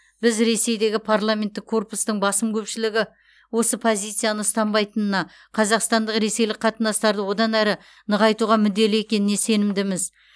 біз ресейдегі парламенттік корпустың басым көпшілігі осы позицияны ұстанбайтынына қазақстандық ресейлік қатынастарды одан әрі нығайтуға мүдделі екеніне сенімдіміз